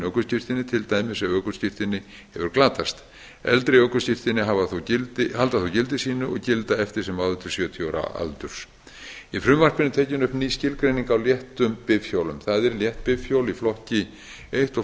ökuskírteini til dæmis ef ökuskírteini hefur glatast eldri ökuskírteini halda þó gildi sínu og gilda eftir sem áður til sjötíu ára aldurs í frumvarpinu er tekin upp ný skilgreining á léttum bifhjólum það er létt bifhjól í flokki eins og